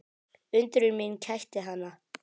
Undrun mín kætti hana.